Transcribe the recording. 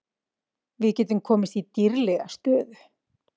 Við getum komist í dýrlega stöðu